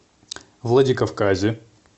владикавказе